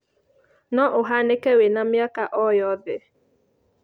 No ũhanĩke wĩna mĩaka o yothe.